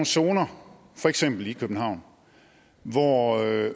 zoner for eksempel i københavn hvor